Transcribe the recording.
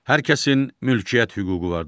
Hər kəsin mülkiyyət hüququ vardır.